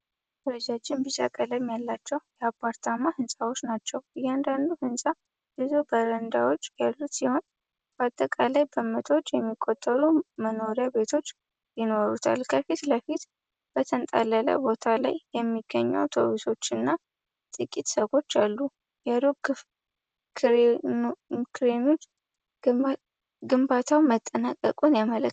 ረጃጅም ቢጫ ቀለም ያላቸው የአፓርታማ ህንጻዎች ናቸው። እያንዳንዱ ህንፃ ብዙ በረንዳዎች ያሉት ሲሆን በአጠቃላይ በመቶዎች የሚቆጠሩ መኖሪያ ቤቶች ይኖሩታል። ከፊት ለፊት በተንጣለለው ቦታ ላይ የሚገኙ አውቶቡሶችና ጥቂት ሰዎች አሉ። የሩቅ ክሬኖች ግንባታው መጠናቀቁን ያመለክታሉ።